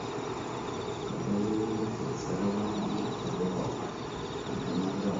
kaji atumie licence e reware amu aidipa entemata e reware